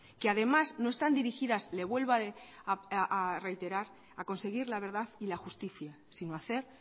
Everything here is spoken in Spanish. que además no están dirigidas le vuelvo a reiterar a conseguir la verdad y la justicia sino hacer